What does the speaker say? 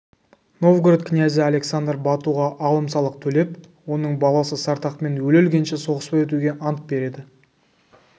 новгород князы александр батуға алым-салық төлеп оның баласы сартақпен өле-өлгенше соғыспай өтуге ант береді